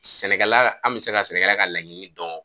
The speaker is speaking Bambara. Sɛnɛkɛla an bɛ se ka sɛnɛkɛla ka laɲini dɔn